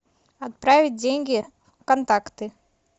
отправить деньги контакты